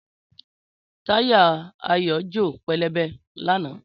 Táyà Ayo jo pẹlẹbẹ lánàá